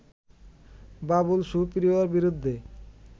বাবুল সুপ্রিয়র বিরুদ্ধে